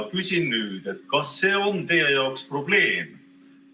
Küsin: kas see on teie jaoks probleem?